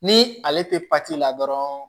Ni ale tɛ la dɔrɔn